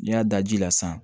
N'i y'a da ji la sisan